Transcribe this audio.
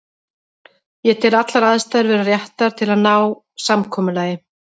Ég tel allar aðstæður vera réttar til að ná samkomulagi.